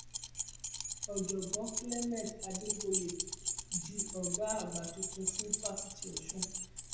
ọjọgbọn cs] clement adebooye di ọgá àgbà tuntun fún fásitì ọsùn